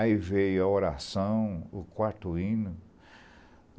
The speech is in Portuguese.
Aí veio a oração, o quarto hino.